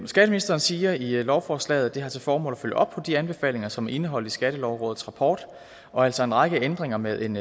skatteministeren siger i lovforslaget at det har til formål at følge op på de anbefalinger som er indeholdt i skattelovrådets rapport og altså en række ændringer med en